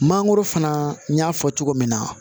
Mangoro fana n y'a fɔ cogo min na